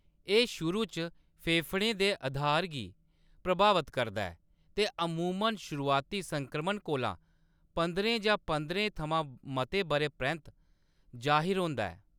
एह्‌‌ शुरू च फेफड़ें दे अधार गी प्रभावत करदा ऐ ते अमूमन शुरुआती संक्रमण कोला पंदरें जां पंजरें थमां मते बʼरें परैंत्त जाहिर होंदा ऐ।